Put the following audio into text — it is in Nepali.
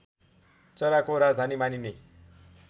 चराको राजधानी मानिने